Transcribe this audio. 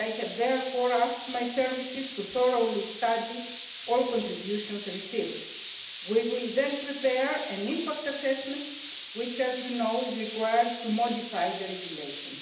I have therefore asked my services to thoroughly study all the contributions received. We will then prepare an impact assessment which, as you know, is required to modify the regulation.